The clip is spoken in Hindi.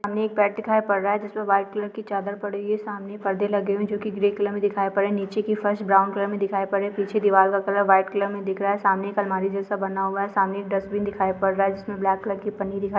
सामने एक बेड दिखाई पड़ रहा है जिसमें व्हाइट कलर की चादर पड़ी हुई हैसामने परदे लगे हैंहुए हैं जो की ग्रे कलर में दिखाई पड़ रहे हैं नीचे की फर्श ब्राउन कलर में दिखाई पड़ रहे हैं पीछे दीवार का कलर वाइट कलर में दिख रहा है सामने एक अलमारी जैसा बना हुआ है सामने एक डस्टबिन दिखाई पड़ रहा है जिसमें ब्लैक कलर की पन्नी दिखाई--